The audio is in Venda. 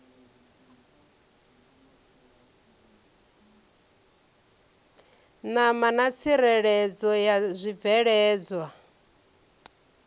ṋama na tsireledzo ya zwibveledzwa